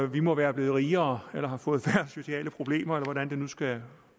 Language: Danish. vi må være blevet rigere eller have fået færre sociale problemer eller hvordan det nu skal